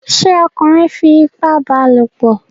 ṣé ọkunrin fi ipá bá a lòpọ̀?